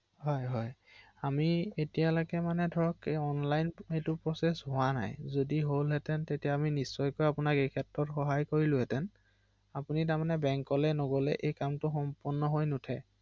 হয়